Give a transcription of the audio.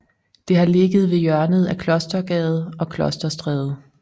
Det har ligget ved hjørnet af Klostergade og Klosterstræde